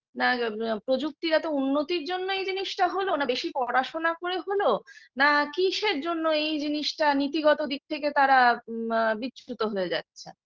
না প্রযুক্তিগত উন্নতির জন্যই জিনিসটা হলো না বেশি পড়াশোনা করে হল নাকি কিসের জন্য এই জিনিসটা নীতিগত দিক থেকে তারা বা বিচ্যুত হয়ে যাচ্ছে